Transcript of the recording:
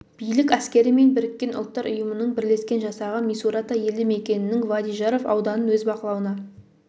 билік әскері мен біріккен ұлттар ұйымының бірлескен жасағы мисурата елді мекенінің вади жарф ауданын өз бақылауына